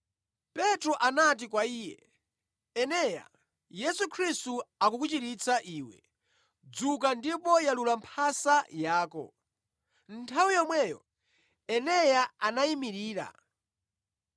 Petro anati kwa iye, “Eneya, Yesu Khristu akukuchiritsa iwe, dzuka ndipo yalula mphasa yako.” Nthawi yomweyo Eneya anayimirira.